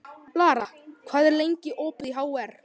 Lara, hvað er lengi opið í HR?